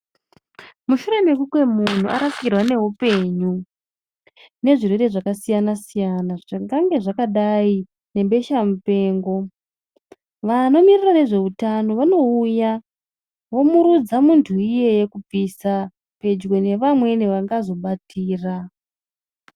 Mushure mekunge muntu arasikirwa ngeupenyu nezvirwere zvakasiyana-siyana, zvingange zvakadai nebesha mupengo. Vanomiririra nezvehutano vanouya vomurudza muntu iyeye kubvisa pedyo nevamweni vangazobatira.